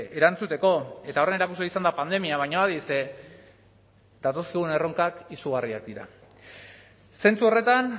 erantzuteko eta horren erakusle izan da pandemia baina adi ze datozkigun erronkak izugarriak dira zentzu horretan